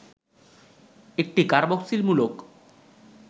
একটি কার্বক্সিল মূলক